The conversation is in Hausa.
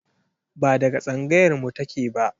Ba daga tsangayar mu take ba